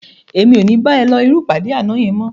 Èmi ò ní bá ẹ lọ irú ìpàdé àná yẹn mọ́